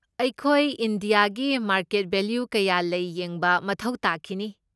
ꯑꯩꯈꯣꯏ ꯏꯟꯗꯤꯌꯥꯒꯤ market value ꯀꯌꯥ ꯂꯩ ꯌꯦꯡꯕ ꯃꯊꯧ ꯇꯥꯈꯤꯅꯤ꯫